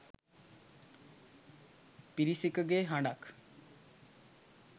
පිරිසකගේ හඬක්